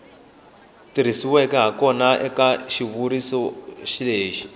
tirhisiweke hakona eka xitshuriwa lexi